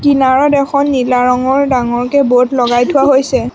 কিনাৰত এখন নীলা ৰঙৰ ডাঙৰকৈ ব'ৰ্ড লগাই থোৱা হৈছে।